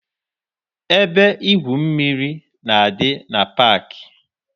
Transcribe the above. Ebe igwu mmiri na-adị na paakị.